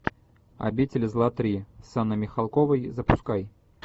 обитель зла три с анной михалковой запускай